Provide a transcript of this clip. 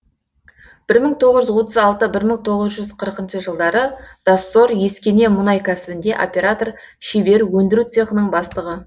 бір мың тоғыз жүз отыз алты бір мың тоғыз жүз қырықыншы жылдары доссор ескене мұнай кәсібінде оператор шебер өндіру цехының бастығы